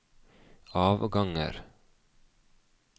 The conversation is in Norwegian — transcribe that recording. avganger